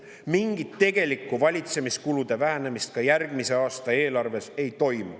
Mingit tegelikku valitsemiskulude vähendamist ka järgmise aasta eelarves ei toimu.